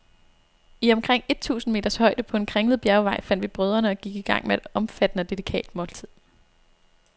I omkring et tusinde meters højde, på en kringlet bjergvej, fandt vi brødrene og gik i gang med et omfattende og delikat måltid.